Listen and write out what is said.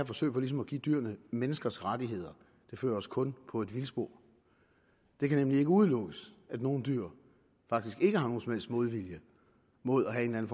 forsøg på ligesom at give dyr menneskers rettigheder og det fører os kun på vildspor det kan nemlig ikke udelukkes at nogle dyr faktisk ikke har nogen som helst modvilje mod at have en